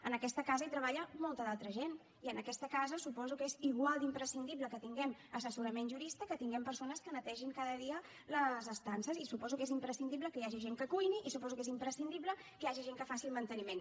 en aquesta casa hi treballa molta altra gent i en aquesta casa suposo que és igual d’imprescindible que tinguem assessorament jurista que tinguem persones que netegin cada dia les estances i suposo que és imprescindible que hi hagi gent que cuini i suposo que és imprescindible que hi hagi gent que faci el manteniment